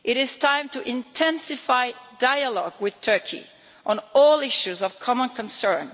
It is time to intensify dialogue with Turkey on all issues of common concern.